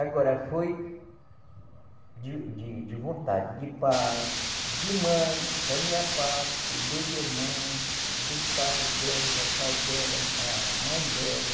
Agora, foi de de de vontade, de pai, de mãe, da minha parte, dos irmãos, do pai dela, pai dela, a mãe dela.